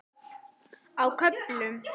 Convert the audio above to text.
Á köflum.